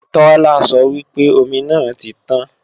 Tola sọ wípé omi náà ti tàn